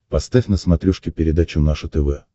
поставь на смотрешке передачу наше тв